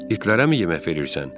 İtlərəmi yemək verirsən?